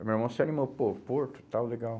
Aí meu irmão se animou, pô, porto e tal, legal.